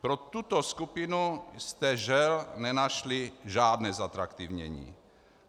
Pro tuto skupinu jste, žel, nenašli žádné zatraktivnění.